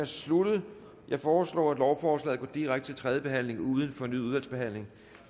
sluttet jeg foreslår at lovforslaget går direkte til tredje behandling uden fornyet udvalgsbehandling